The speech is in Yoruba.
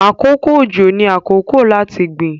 àkókò ojo ní àkókò láti gbìn.